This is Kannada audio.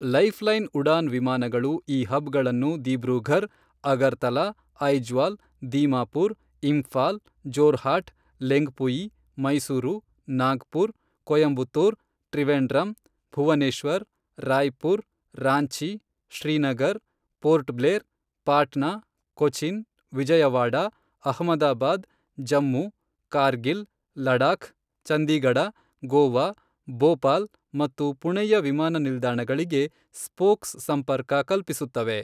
ಲೈಫ್ ಲೈನ್ ಉಡಾನ್ ವಿಮಾನಗಳು ಈ ಹಬ್ ಗಳನ್ನು Dibrugarh, Agartala, Aizawl, Dimapur, Imphal, Jorhat, Lengpui, Mysuru, Nagpur, Coimbatore, Trivandrum, Bhubaneswar, Raipur, Ranchi, Srinagar, Port Blair, Patna, Cochin, Vijayawada, Ahmedabad, Jammu, Kargil, Ladakh, Chandigarh, Goa, Bhopal ಮತ್ತು ಪುಣೆಯ ವಿಮಾನ ನಿಲ್ದಾಣಗಳಿಗೆ ಸ್ಪೋಕ್ಸ್ ಸಂಪರ್ಕ ಕಲ್ಪಿಸುತ್ತವೆ.